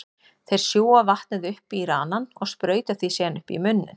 Þeir sjúga vatnið upp í ranann og sprauta því síðan upp í munninn.